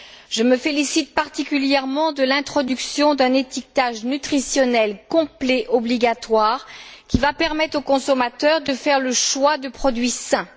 Je me félicite particulièrement de l'introduction d'un étiquetage nutritionnel complet obligatoire, qui va permettre aux consommateurs de faire le choix de produits sains.